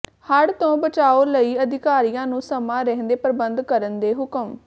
ਹੜ੍ਹ ਤੋਂ ਬਚਾਓ ਲਈ ਅਧਿਕਾਰੀਆਂ ਨੂੰ ਸਮਾਂ ਰਹਿੰਦੇ ਪ੍ਰਬੰਧ ਕਰਨ ਦੇ ਹੁਕਮ